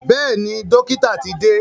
Bẹ́ẹ̀ni, dọ́kítà ti dé.